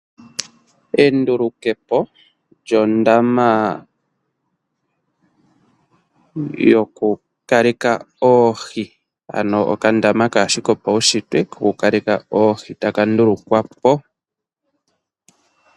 Enduluke po lyondama yokukaleka oohi. Ano okandama kaake shi kopaushitwe kokukaleka oohi taka ndulukwa po.